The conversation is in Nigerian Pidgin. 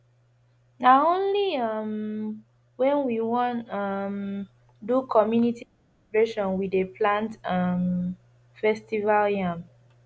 na only um wen we wan um do community celebration we dey plant um festival yam